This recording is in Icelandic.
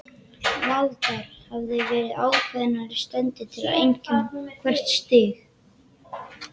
Valdar hafa verið ákveðnar steindir til að einkenna hvert stig.